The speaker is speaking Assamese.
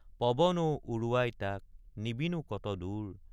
পৱন অ উৰুৱাই তাক নিবিনো কত দুৰ?